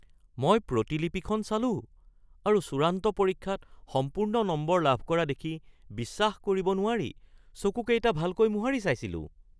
মই প্ৰতিলিপিখন চালোঁ আৰু চূড়ান্ত পৰীক্ষাত সম্পূৰ্ণ নম্বৰ লাভ কৰা দেখি বিশ্বাস কৰিব নোৱাৰি চকুকেইটা ভালকৈ মোহাৰি চাইছিলোঁ।